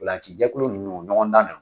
Ntolacijɛkulu ninnu ɲɔgɔn dan na